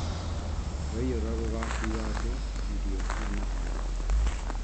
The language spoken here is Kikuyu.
Rwaiyũra rũgakua andũ, irio na mahiũ